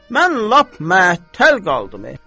Mən lap məəttəl qaldım.